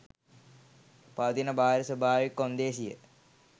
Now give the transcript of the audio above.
පවතින බාහිර ස්වභාවික කොන්දේසිය